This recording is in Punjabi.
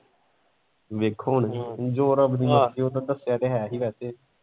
ਵੇਖੋ ਹੁਣ ਜੋ ਰੱਬ ਦੀ ਮਰਜੀ ਉੱਦਾਂ ਦੱਸਿਆ ਤਾਂ ਹੈ ਹੀ ਵੈਸੇ।